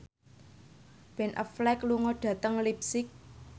Ben Affleck lunga dhateng leipzig